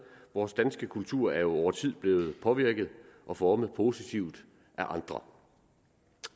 vores danske kultur er jo over tid blevet påvirket og formet positivt af andre